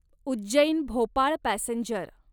Ujjain Bhopal passenger